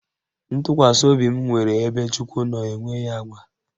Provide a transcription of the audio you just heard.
Ntụkwasị obi m nwere ebe Chukwu nọ enweghị agba